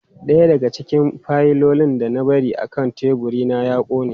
Daya daga cikin fayilolin da na bari akan teburina ya kone.